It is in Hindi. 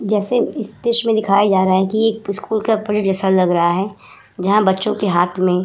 जैसे इस दृश्य में दिखाया जा रहा है कि ये एक स्कूल का जैसे लग रहा है जहां बच्चों के हाथ में --